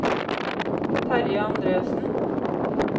Terje Andresen